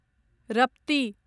रप्ती